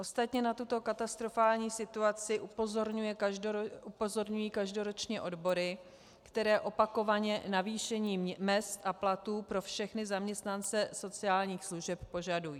Ostatně na tuto katastrofální situaci upozorňují každoročně odbory, které opakovaně navýšení mezd a platů pro všechny zaměstnance sociálních služeb požadují.